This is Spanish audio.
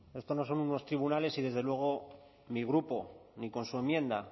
esto no son unos tribunales y desde luego mi grupo ni con su enmienda